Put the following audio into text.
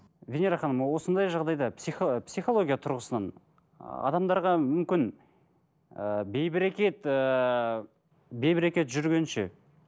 венера ханым осындай жағдайда психология тұрғысынан адамдарға мүмкін ііі бейберекет ыыы бейберекет жүргенше